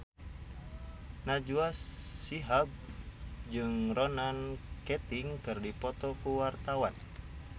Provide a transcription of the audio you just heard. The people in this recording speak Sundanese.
Najwa Shihab jeung Ronan Keating keur dipoto ku wartawan